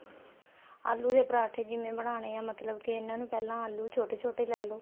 ਆਲੂ ਦੇ ਪਰਾਂਠੇ ਜਿਵੇਂ ਬਣਾਨੇ ਏ ਮਤਲਬ ਕਿ ਇਨ੍ਹਾਂ ਨੂੰ ਪਹਿਲਾਂ ਆਲੂ ਛੋਟੇ ਛੋਟੇ ਲੈਲੋ